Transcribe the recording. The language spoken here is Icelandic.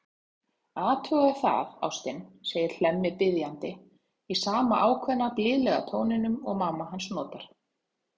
Athugaðu það, ástin, segir Hemmi biðjandi, í sama ákveðna, blíðlega tóninum og mamma hans notar.